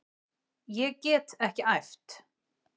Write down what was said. Ég get ekki æft.